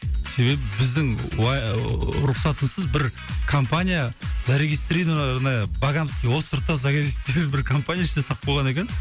себебі біздің ыыы рұқсатымызсыз бір компания зарегистрированная богамский островта бір компания ішіне салып қойған екен